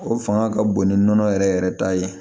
O fanga ka bon ni nɔnɔ yɛrɛ yɛrɛ ta ye